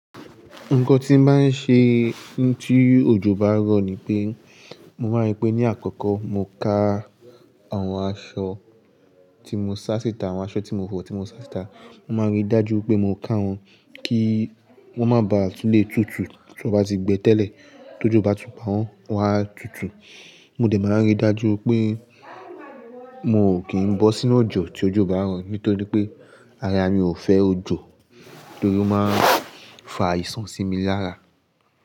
Nǹkan tí n máa ń ṣe tí òjò bá ń rọ̀ ni pé, mo máa rí pé ní àkọ́kọ́ mo ka àwọn aṣọ tí mo ṣá si tà, àwọn aṣọ tí mo fọ̀ tí mo ṣá si tà. Mo máa ń rí dájú pé mo ká wọn kí wọ́n má ba à tún lè tutù tí wọ́n bá ti gbẹ́ tẹ́lẹ̀ tí òjò bá tún pá wọn wá tutù. Mo dẹ̀ máa ń ríi dájú pé mo kì í ń bọ́ sínú òjò tí òjò bá ń rọ̀ nítorí pé ara mi ò fẹ́ òjò torí ó máa ń fa àìsàn sí mi lára.